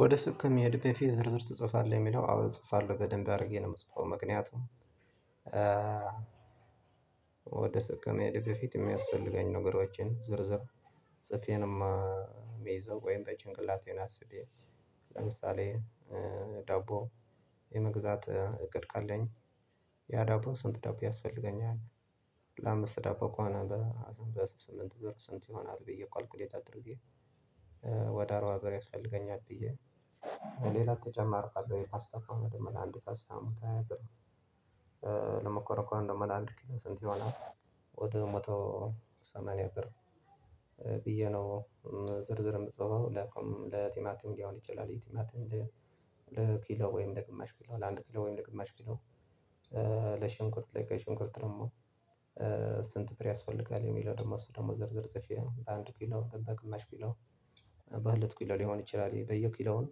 ወደ ሱቅ የመሄድህ ከፊት ዝርዝር ትጽፋለህ የሚለው አዎ እጽፋለሁ በደንብ አድርጌ ነው የምጽፈው። ምክንያቱም ወደ ሱቅ ከመሄዴ በፊት የሚያስፈልገኝ ነገሮችን ዝርዝር ጽፌንም ምይዞው ወይን በጭንቅላቴን አስቤ ለምሳሌ ዳቦ የመግዛት እቅድ ካለኝ ያ ዳቦ ስንት ዳቦ ያስፈልገኛል ለአምስት ዳቦ ከሆነ በ በስምንት ብር ስንት ይሆናል ብዬ ኳልኩሌት አድርጌ ወደ አርባ ብር ያስፈልገኛል ብዬ። ሌላ ተጨማሪ ካለው የፓስታው ከሆነ ደግሞ ለአንድ ፓስታ መቶ ሃያ ብር ለመኮረኒ ከሆነ ደግሞ ለአንድ ኪሎ ስንት ይሆናል ወደ ሞቶ ሰማንያ ብር ብዬ ነው። ዝርዝርም ምፅፈው ለቲማቲም ሊሆን ይችላል የቲማቲም ለኪሎ ወይም ለግማሽ ኪሎ ለአንድ ኪሎ ወይም ለግማሽ ኪሎ። ለሽንኩርት ለቀይ ሽንኩርት ደግሞ ስንት ብር ያስፈልጋል የሚለው ደግሞ እሱ ደግሞ ዝርዝር ጽፌ በአንድ ኪሎ በግማሽ ኪሎ። በሁለት ኪሎ ሊሆን ይችላል በየኪሎውም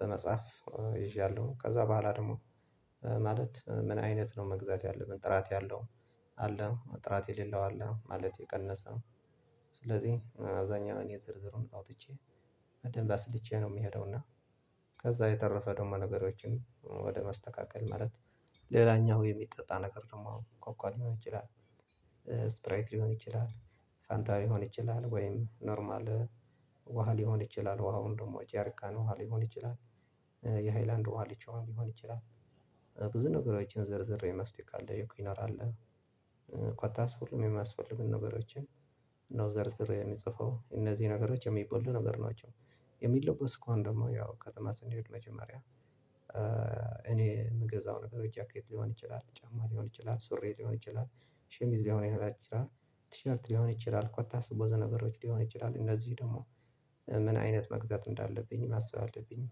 በመጻፍ ይዣለው ከዛ በኋላ ደግሞ። ማለት ምን አይነት ነው መግዛት ያለብን ጥራት ያለው አለ ጥራት የሌለው አለ ማለት የቀነሰ ስለዚህ አብዛኛው እኔ ዝርዝሩን አውጥቼ በደንብ አስልቼ ነው የምሄደው እና። ከዛ የተረፈ ደግሞ ነገሮችን ወደ ማስተካከል ማለት ሌላኛው የሚጠጣ ነገር ደግሞ አሁን ኮካ ሊሆን ይችላል። ስፕራይት ሊሆን ይችላል ፋንታ ሊሆን ይችላል ወይም ኖርማል ውሃ ሊሆን ይችላል ውሃው ደግሞ ጀሪካን ውሃ ሊሆን ይችላል የሃይላንድ ውሃ ሊችሆን ሊሆን ይችላል። ብዙ ነገሮችን ዘርዝሬ መስቲካ አለ የክኖር አለ ኮታስ ሁሉም የሚያስፈልጉን ነገሮችን ነው ዘርዝሬ የምጽፈው እነዚህ ነገሮች የሚበሉ ነገር ናቸው። የሚለበሱ ከሆነ ደግሞ ያው ከተማ ስንሄድ መጀመሪያ እኔ የምገዛው ነገር ጃኬት ሊሆን ይችላል ጫማ ሊሆን ይችላል ሱሪ ሊሆን ይችላል። ሸሚዝ ልሆን ይችላል ቲሸርት ሊሆን ይችላል ኮታስ ብዙ ነገሮች ሊሆን ይችላል እነዚህ ደግሞ። ምን አይነት መግዛት እንዳለብኝ ማሰብ አለብኝ።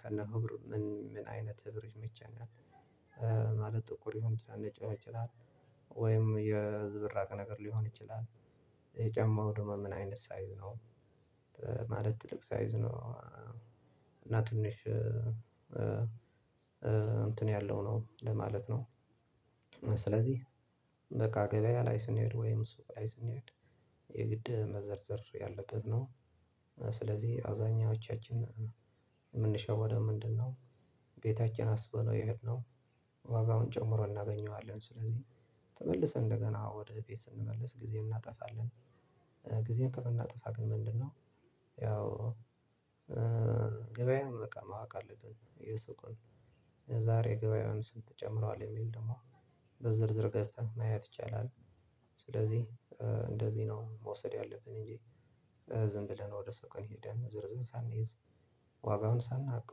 ከነ ህብሩ ምን አይነት ህብር ይመቸኛል? ማለት ጥቁር ይሁን ነጭ ይችላል። ወይም የዝብራቅ ነገር ሊሆን ይችላል። የጫማው ደግሞ ምን አይነት ሳይዝ ነው። ማለት ትልቅ ሳይዝ ነው። እና ትንሽ እንትን ያለው ነው ለማለት ነው። ስለዚህ በቃ ገበያ ላይ ስንሄድ ወይም ሱቅ ላይ ስንሄድ የግድ መዘርዘር ያለበት ነው። ስለዚህ አዛኞቻችን የምንሸወደው ምንድነው? ቤታችን አስበነው የሄድነው ዋጋውን ጨምሮ እናገኘዋለን ስለዚህ ተመልሰን እንደገና ወደ ቤት ስንመልስ ጊዜ እናጠፋለን። ጊዜ ከምናጠፋ ግን ምንድነው? ያው ገበያዬን በቃ ማወቅ አለብን የሱቅን የዛሬ ገበያውን ስም ትጨምረዋለህ የሚል ደግሞ በዝርዝር ገብተህ ማየት ይቻላል። ስለዚህ እንደዚህ ነው መውሰድ ያለብን እንጂ። ዝም ብለን ወደ ሱቅ ሄደን ዝርዝር ሳንይዝ ዋጋውን ሳናውቅ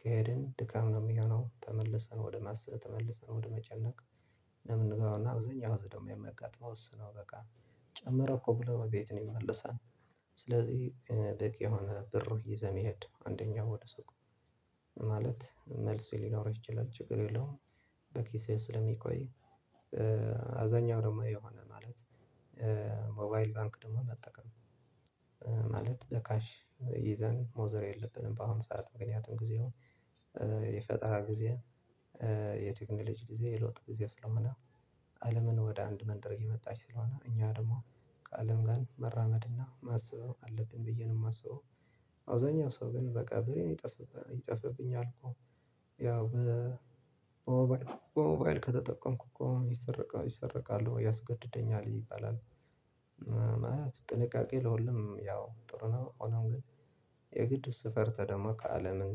ከሄድን ድካም ነው የሚሆነው ተመልሰን ወደ ማሰብ ተመልሰን ወደ መጨነቅ። ነው ምንገባ እና አብዛኛው ህዝብ ደግሞ የምጋጥመው እሱ ነው በቃ ጨመረ እኮ ብሎ ቤቱ ይመለሳል። ስለዚህ በቂ የሆነ ብር ይዘህ መሄድ አንደኛው ወደ ሱቁ ማለት መልስ ሊኖር ይችላል ችግር የለውም። በኪሴ ስለሚቆይ አብዛኛው ደግሞ የሆነ ማለት ሞባይል ባንክ ደግሞ መጠቀም ማለት ለካሽ ይዘን ሞዘር የለብንም በአሁኑ ሰዓት ምክንያቱም ጊዜው የፈጠራ ጊዜ የቴክኖሎጂ ጊዜ የለውጥ ጊዜ ስለሆነ። አለምን ወደ አንድ መንደር እየመጣች ስለሆነ እኛ ደግሞ ከአለም ጋር መራመድና ማሰብ አለብን ብዬ ነው የማስበው። አውዛኛው ሰው ግን በቃ ብሬን ይጠፋብኛል እኮ ያው በሞባይል ከተጠቀምኩ እኮ ይሰረቀል ይሰረቃሎ ያስገድደኛል ይባላል። ጥንቃቄ ለሁሉም ያው ጥሩ ነው ሆኖም ግን። የግድ እሱ ፈርቶ ደግሞ ከአለምም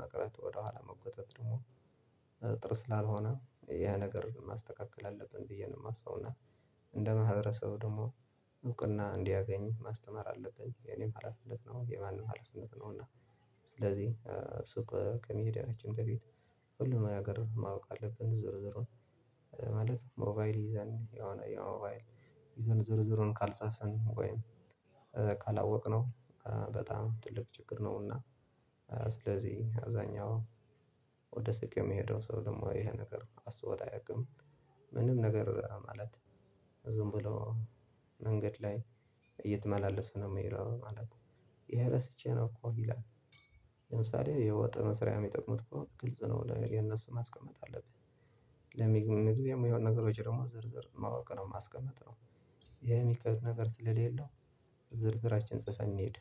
መቅረት ወደኋላ መጎተት ደግሞ ጥሩ ስላልሆነ ይሄ ነገር ማስተካከል አለብን ብዬ ነው የማስበው። እና እንደ ማህበረሰቡ ደግሞ እውቅና እንዲያገኝ ማስተማር አለብኝ የኔም ሀላፊነት ነው የማንም ሀላፊነት ነው እና። ስለዚህ ሱቅ ከመሄዳችን በፊት ሁሉም ነገር ማወቅ አለብን። ዞር ዞሮን ማለት ሞባይል ይዘን የሆነ የሞባይል ዝርዝሩን ካልጻፈንን ወይም ካላወቅነው በጣም ትልቅ ችግር ነውና። ስለዚህ አዛኛው ወደ ስኬት የሚሄደው ሰው ደግሞ ይሄ ነገር አስቦት አያውቅም። ምንም ነገር ማለት ዝም ብሎ መንገድ ላይ እየተመላለሰ ነው የሚለው ማለት ነው። ይሄ ረስቼ ነው እኮ ይላል። ለምሳሌ የውጥረት ስራዬን የሚጠቅሙት ከሆነ ግልጽ ነው ወደ የነሱ ማስቀመጥ አለብኝ። ለምግብነት የሚሆኑ ነገሮች ደግሞ ዝርዝር ማወቅ ነው ማስቀመጥ ነው። ይሄ የሚከብድ ነገር ስለሌለው። ዝርዝራችን ጽፈን እንሂድ